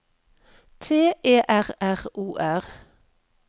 T E R R O R